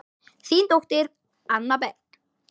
Þín dóttir, Anna Berg.